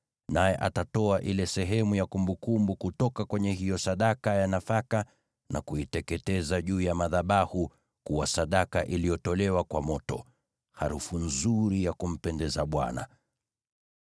Naye atatoa ile sehemu ya kumbukumbu kutoka kwenye hiyo sadaka ya nafaka na kuiteketeza juu ya madhabahu kuwa sadaka iliyotolewa kwa moto, harufu nzuri ya kumpendeza Bwana .